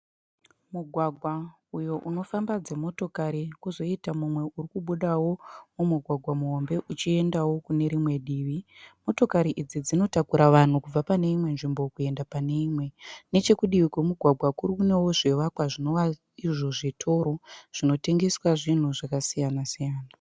Mugwagwa uyo unofamba dzimotokari kwozoita mumwe urikubudawo mumugwagwa muhombe uchiendawo kune rimwe divi. Motokari idzi dzinotakura vanhu kubva pane imwe nzvimbo kuenda pane imwe. Nechekudivi kwemugwagwa kune zvivakwawo zvinova zvitoro zvinotengeswa zvinhu zvakasiyana siyana.